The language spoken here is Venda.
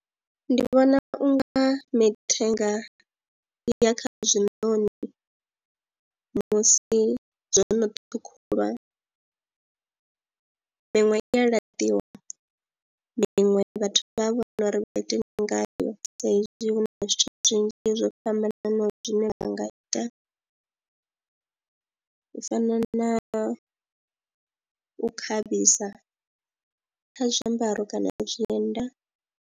Ndi vhona u nga mithenga ya kha zwinoni musi zwo no ṱhukhulwa miṅwe i ya laṱiwa, miṅwe vhathu vha vhona uri vha ite ndi ngayo sa ezwi hu na zwithu zwinzhi zwo fhambananaho zwine ra nga ita u fana na u khavhisa kha zwiambaro kana ya zwienda.